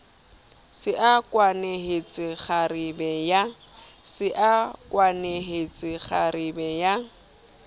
se a kwenehetse kgarebe ya